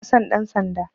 Bana son ɗan sanda